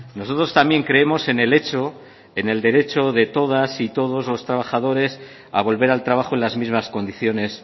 nosotros también creemos en el hecho en el derecho de todas y todos los trabajadores a volver al trabajo en las mismas condiciones